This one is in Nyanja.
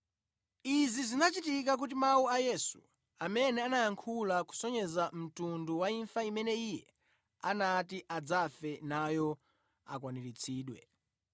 Izi zinachitika kuti mawu a Yesu amene anayankhula kusonyeza mtundu wa imfa imene Iye anati adzafe nayo akwaniritsidwe.